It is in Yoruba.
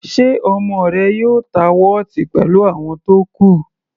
Ṣe ọmọ rẹ yóò ta wọ́ọ̀tì pẹ̀lú àwọn tó kù?